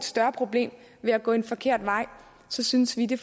større problem ved at gå en forkert vej synes vi det